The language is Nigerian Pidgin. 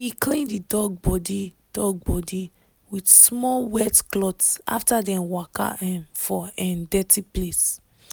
he clean the dog body dog body with small wet cloth after dem waka um for um dirty place.